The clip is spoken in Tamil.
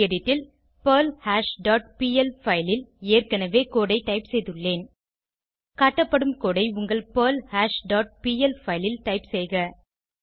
கெடிட் ல் பெர்ல்ஹாஷ் டாட் பிஎல் பைல் ல் ஏற்கனவே கோடு ஐ டைப் செய்துள்ளேன் காட்டப்படும் கோடு ஐ உங்கள் பெர்ல்ஹாஷ் டாட் பிஎல் பைல் ல் டைப் செய்க